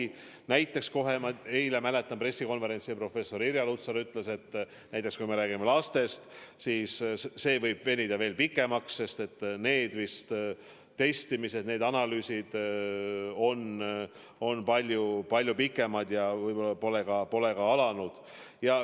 Ma mäletan, et eilsel pressikonverentsil professor Irja Lutsar ütles, et kui me räägime lastest, siis see võib venida pikemaks, sest nende puhul need testimised ja analüüsid on palju pikemad ja võib-olla pole ka alanud.